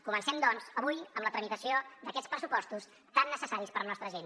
comencem doncs avui amb la tramitació d’aquests pressupostos tan necessaris per a la nostra gent